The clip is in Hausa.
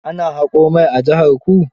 Ana haƙo mai a jiharku.